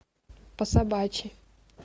по собачьи